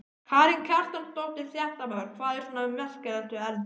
Karen Kjartansdóttir, fréttamaður: Hvað er svona merkilegt við erni?